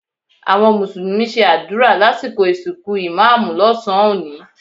Àwọn mùsùlùmí ṣe àdúrà lásìkò ìsìnkú ìmá́àmù lọ́sàn-án òní